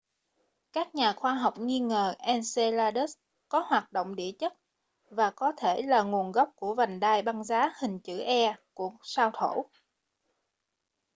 các nhà khoa học nghi ngờ enceladus có hoạt động địa chất và có thể là nguồn gốc của vành đai băng giá hình chữ e của sao thổ